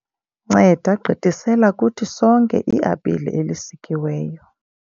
nceda gqithisela kuthi sonke iapile elisikiweyo